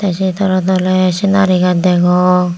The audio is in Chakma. se tole tole senari gaz degong.